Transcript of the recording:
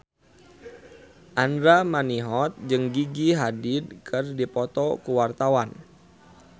Andra Manihot jeung Gigi Hadid keur dipoto ku wartawan